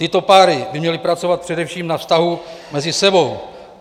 Tyto páry by měly pracovat především na vztahu mezi sebou.